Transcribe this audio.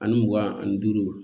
Ani mugan ani duuru